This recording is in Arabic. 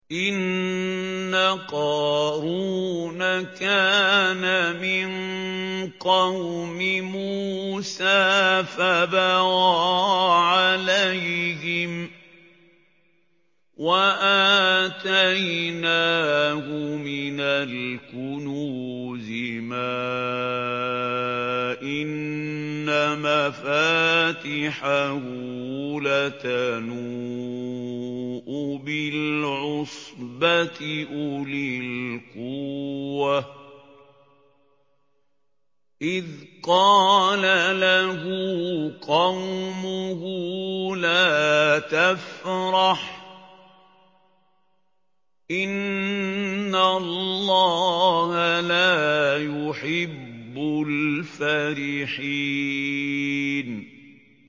۞ إِنَّ قَارُونَ كَانَ مِن قَوْمِ مُوسَىٰ فَبَغَىٰ عَلَيْهِمْ ۖ وَآتَيْنَاهُ مِنَ الْكُنُوزِ مَا إِنَّ مَفَاتِحَهُ لَتَنُوءُ بِالْعُصْبَةِ أُولِي الْقُوَّةِ إِذْ قَالَ لَهُ قَوْمُهُ لَا تَفْرَحْ ۖ إِنَّ اللَّهَ لَا يُحِبُّ الْفَرِحِينَ